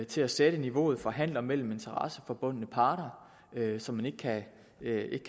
til at sætte niveauet for handler mellem interesseforbundne parter så man ikke kan